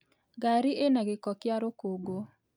Ngari ĩna gĩko kĩa rũkũngũ